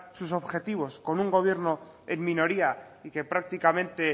sus objetivos con un gobierno en minoría y que prácticamente